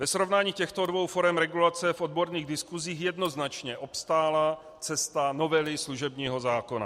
Ve srovnání těchto dvou forem regulace v odborných diskusích jednoznačně obstála cesta novely služebního zákona.